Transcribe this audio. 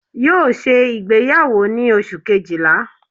Yóò ṣe ìgbéyàwó ni Oṣù kejìlá